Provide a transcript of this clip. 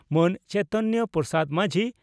ᱢᱟᱹᱱ ᱪᱚᱭᱛᱚᱱᱭᱚ ᱯᱨᱚᱥᱟᱫᱽ ᱢᱟᱹᱡᱷᱤ